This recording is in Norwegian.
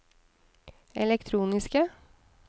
elektroniske